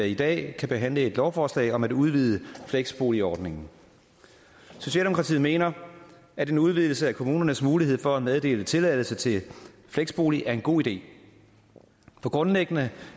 i dag kan behandle et lovforslag om at udvide fleksboligordningen socialdemokratiet mener at en udvidelse af kommunernes mulighed for at meddele tilladelse til fleksbolig er en god idé for grundlæggende